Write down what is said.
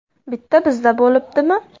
Bitta bizda bo‘libdimi?